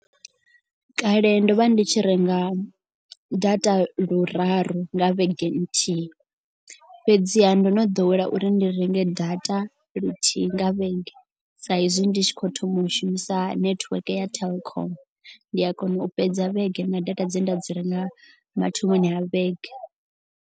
Kale ndo vha ndi tshi renga data luraru nga vhege nthihi. Fhedziha ndo no ḓowela uri ndi renge data luthihi nga vhege sa izwi ndi tshi khou thoma u shumisa network ya Telkom. Ndi a kona u fhedza vhege na data dze nda dzi renga mathomoni a vhege.